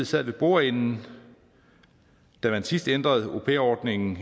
sad ved bordenden da man sidst ændrede au pair ordningen